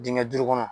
Dingɛ duuru kɔnɔ